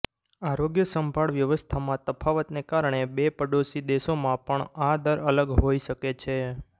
આરોગ્ય સંભાળ વ્યવસ્થામાં તફાવતને કારણે બે પડોશી દેશોમાં પણ આ દર અલગ હોઇ શકે છે